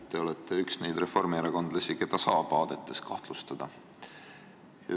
Teie olete üks neid reformierakondlasi, keda saab aadete omamises kahtlustada.